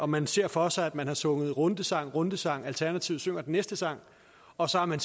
man ser for sig at man har sunget rundesang rundesang alternativet synger den næste sang og så har man